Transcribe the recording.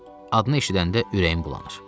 Adını eşidəndə ürəyim bulanır.